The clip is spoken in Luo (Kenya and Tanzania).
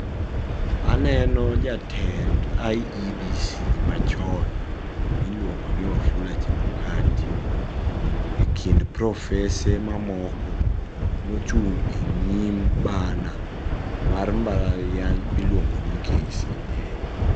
Aneno jatend IEBC machon miluongoni Wafula Chebukati, ekind profese mamoko mochung' e nyim bana mar mbala riany miluogoni KCA.